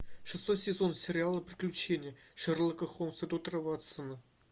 шестой сезон сериала приключения шерлока холмса и доктора ватсона